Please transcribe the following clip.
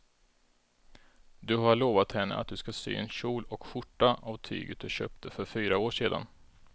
Du har lovat henne att du ska sy en kjol och skjorta av tyget du köpte för fyra år sedan.